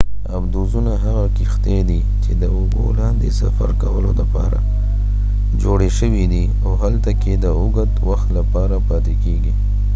آبدوزونه هغه کښتۍ دي چې د اوبو لاندې سفر کولو لپاره جوړې شوي دي او هلته کې د اوږد وخت لپاره پاتې کیږي